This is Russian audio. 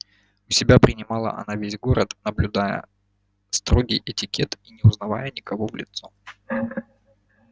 у себя принимала она весь город наблюдая строгий этикет и не узнавая никого в лицо